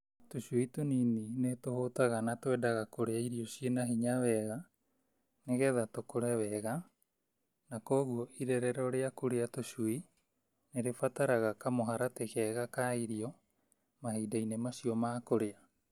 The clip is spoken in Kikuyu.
Tũcui tũnini nĩtũhũtaga na twendaga kũrĩa irio ciĩna hinya wega nĩgetha tũkũre wega , na kwoguo irerero rĩaku rĩa tũcui nĩrĩrabatara kamũharatĩ kega ka irio mahinda-inĩ macio ma kũrĩa.